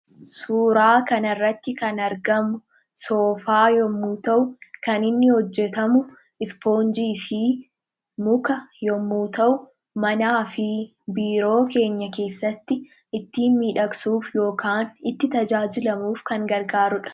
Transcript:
Suuraa kanarratti kan argamu soofaa yommuu ta'u, kan inni hojjetamu isfoonjii fi muka yommuu ta'u, manaa fi biiroo keenya keessatti ittiin miidhagsuuf yookaan itti tajaajilamuuf kan gargaarudha.